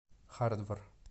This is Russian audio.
хардвар